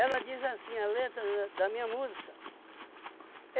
Ela diz assim, a letra da da minha música.